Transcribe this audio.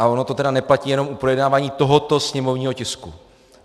A ono to tedy neplatí jenom u projednávání tohoto sněmovního tisku.